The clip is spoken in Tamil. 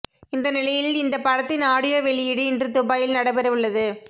இந்த நிலையில் இந்த படத்தின் ஆடியோ வெளியீடு இன்று துபாயில் நடைபெறவுள்ளது